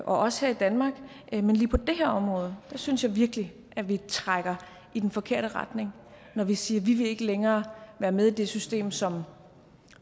også her i danmark men lige på det her område synes jeg virkelig at vi trækker i den forkerte retning når vi siger at vi ikke længere være med i det system som